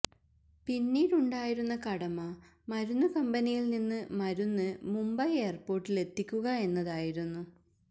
പിന്നീടുണ്ടായിരുന്ന കടമ മരുന്ന് കമ്പനിയിൽ നിന്ന് മരുന്ന് മുംബൈ എയർപോർട്ടിലെത്തിക്കുക എന്നതായിരുന്നു